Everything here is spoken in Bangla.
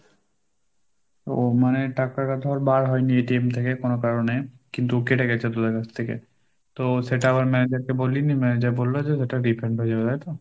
ও মানে টাকার কথা আর বার হয়নি ATNথেকে কোনো কারণে কিন্তু কেটে গেছে তোদের কাছ থেকে, তো সেটা আবার manager কে বললি manager বলল যে সেটা refund হয়ে যাবে তাই তো?